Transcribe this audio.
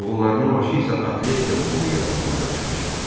Oğullarının başı isə atletika klubu yaratmağa qarışmışdı.